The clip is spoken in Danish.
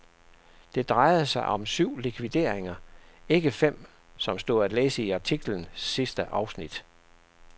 Det drejede sig om syv likvideringer, ikke fem som stod at læse i artiklens sidste afsnit.